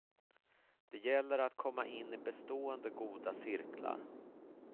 Det gäller att komma in i bestående goda cirklar.